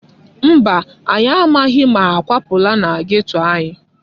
Mba, anyị amaghị ma ha akwapụla na geto anyị.